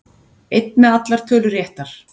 Einn með allar tölur réttar